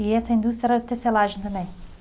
E essa indústria era tecelagem também?